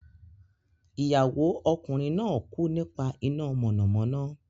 Ìyàwó ọkùnrin náà kú nípa iná mọ̀nàmọ́ná.